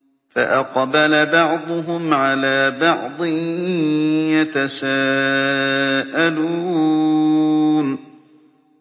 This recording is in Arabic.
فَأَقْبَلَ بَعْضُهُمْ عَلَىٰ بَعْضٍ يَتَسَاءَلُونَ